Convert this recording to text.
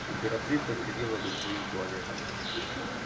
императрица сидела за своим туалетом